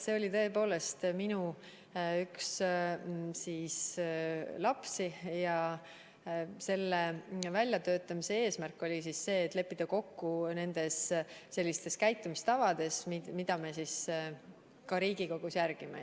See oli tõepoolest minu üks lapsi ja selle väljatöötamise eesmärk oli leppida kokku käitumistavades, mida me Riigikogus järgime.